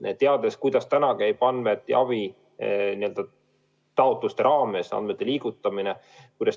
Ma tean, kuidas käib taotluste raames andmete liigutamine.